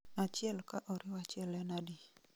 achiel ka oriw achiel en adi